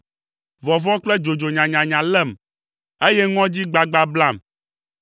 Vɔvɔ̃ kple dzodzo nyanyanya lém, eye ŋɔdzi gbagba blam.